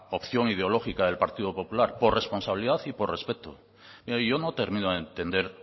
opción ideológica del partido popular por responsabilidad y por respeto mire yo no termino de entender